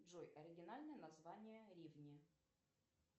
джой оригинальное название ривни